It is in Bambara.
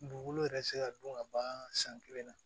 Dugukolo yɛrɛ se ka dun ka ban san kelen na